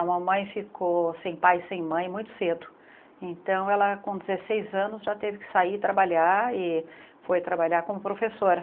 A mamãe ficou sem pai e sem mãe muito cedo, então ela com dezesseis anos já teve que sair trabalhar e foi trabalhar como professora.